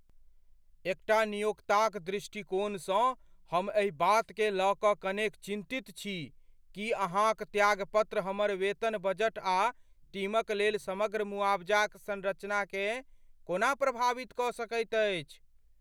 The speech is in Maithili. एकटा नियोक्ताक दृष्टिकोणसँ हम एहि बातकेँ लय कऽ कनेक चिन्तित छी कि अहाँक त्यागपत्र हमर वेतन बजट आ टीमक लेल समग्र मुआवजाक संरचनाकेँ कोना प्रभावित कऽ सकैत अछि।